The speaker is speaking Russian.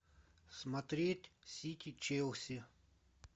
смотреть сити челси